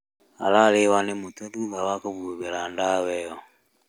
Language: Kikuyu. Ararĩo nĩ mũtwe thutha wa kũhũra ndawa ĩyo